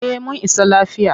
Eh mun isa lafiya.